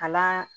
Kalan